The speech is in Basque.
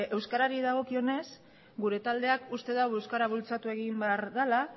euskarari dagokionez gure taldeak uste du euskara bultzatu egin behar dala